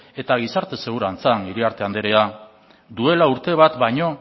eta gizarte segurantzan iriarte anderea duela urte bat baino